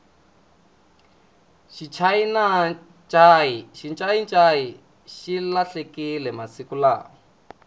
xincayincayi xi lahlekile masiku lawa